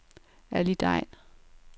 Ali Degn